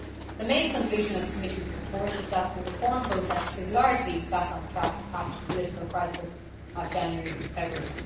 The main conclusion of the Commission's report is that the reform process is largely back on track after the political crisis of January February.